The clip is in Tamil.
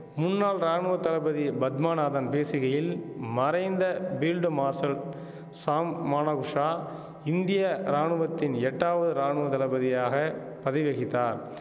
முன்னாள் ராணுவ தளபதி பத்மநாதன் பேசுகையில் மறைந்த பீல்டு மார்ஷல் ஷாம் மானகுஷா இந்திய ராணுவத்தின் எட்டாவது ராணுவ தளபதியாக பதவி வகித்தார்